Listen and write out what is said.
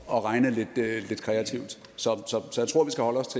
at regne lidt kreativt så